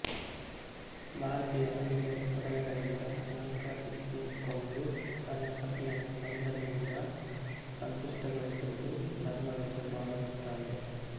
ಭಾರತೀಯ ಮಹಿಳೆ ಒಡವೆಗಳಿಂದ ಅಲಂಕರಿಸಿಕೊಂಡು ತನ್ನ ಪತಿಯನ್ನು ಸೌಂದರ್ಯದಿಂದ ಸಂತುಷ್ಟಗೊಳಿಸುವುದು ಧರ್ಮವೆಂದು ಭಾವಿಸುತ್ತಾಳೆ